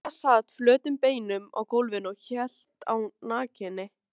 Ína sat flötum beinum á gólfinu og hélt á nakinni